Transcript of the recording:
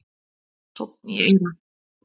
Sónn í eyra